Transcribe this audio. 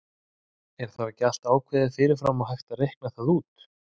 Er þá ekki allt ákveðið fyrir fram og hægt að reikna það út?